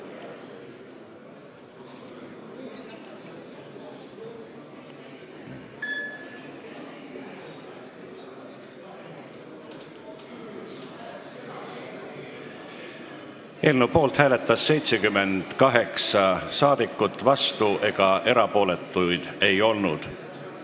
Hääletustulemused Eelnõu poolt hääletas 78 rahvasaadikut, vastuolijaid ega erapooletuid ei olnud.